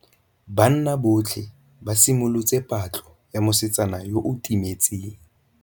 Banna botlhê ba simolotse patlô ya mosetsana yo o timetseng.